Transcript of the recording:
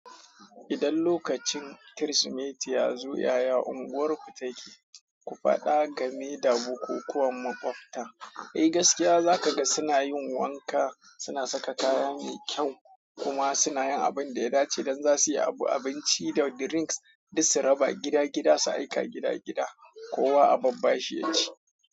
Idan lokacin Kirsimeti ya zo, yaya unguwarku take? Ku faɗa game da bukukuwan maɓabta. Eh gaskiya za ka ga suna yin wanka, suna saka kaya mai kyau kuma suna yin abin da ya dace don za su yi abu, abinci da drinks duk su raba gida gida su aika gida gida, kowa a babbashi ya ci.